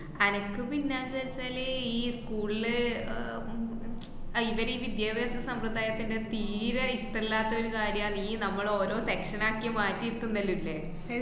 അനക്ക്‌ പിന്നെ എന്താച്ചാല് ആഹ് ഈ school ല് അഹ് ഉം അഹ് ഇവരീ വിദ്യാഭാസ സമ്പ്രദായത്തിന്‍റെ തീരെ ഇഷ്ടല്ലാത്തൊരു കാര്യാണ് ഈ നമ്മളോരോ section ആക്കി മാറ്റീട്ടുണ്ടല്ലോ, ല്ലേ